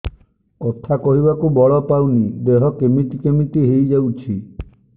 କଥା କହିବାକୁ ବଳ ପାଉନି ଦେହ କେମିତି କେମିତି ହେଇଯାଉଛି